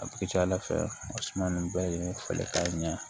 A ka ca ala fɛ o suma nun bɛɛ ye falen ka ɲɛ